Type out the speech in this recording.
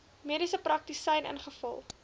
mediese praktisyn ingevul